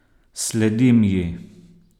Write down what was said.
Sledim ji.